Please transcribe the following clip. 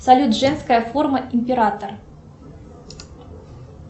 салют женская форма император